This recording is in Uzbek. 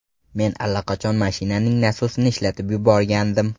Men allaqachon mashinaning nasosini ishlatib yuborgandim.